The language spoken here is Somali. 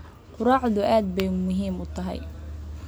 Quraacdu aad bay muhiim u tahay.